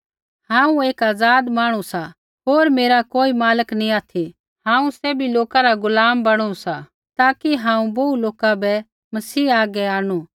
हांऊँ एक आज़ाद मांहणु सा होर मेरा कोई मालक नैंई ऑथि हांऊँ सैभी लोका रा गुलाम बणु सा ताकि हांऊँ बोहू लोका बै मसीह हागै आंणनु